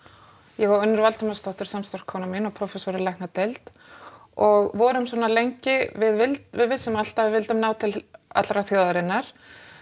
ég og Unnur Valdimarsdóttir samstarfskona mín og prófessor í læknadeild og vorum svona lengi við vildum við vissum alltaf að við vildum ná til allrar þjóðarinnar